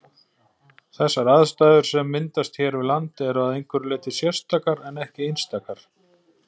Þessar aðstæður sem myndast hér við land eru að einhverju leyti sérstakar en ekki einstakar.